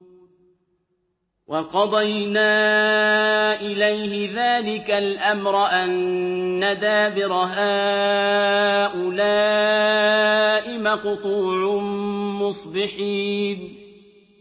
وَقَضَيْنَا إِلَيْهِ ذَٰلِكَ الْأَمْرَ أَنَّ دَابِرَ هَٰؤُلَاءِ مَقْطُوعٌ مُّصْبِحِينَ